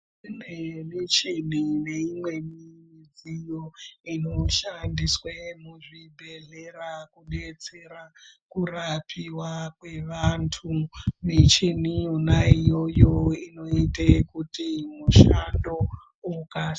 Imwe yemichini neimweni midziyo inoshandiswe muzvibhedhlera kubetsera kurapiwa kwevantu, michini yona iyo inoite kuti mushando ukasike.